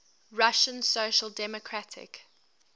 russian social democratic